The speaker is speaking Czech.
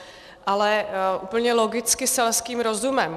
Ale úplně logicky selským rozumem.